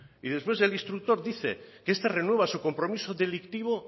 y después el instructor dice que esta renueva el compromiso delictivo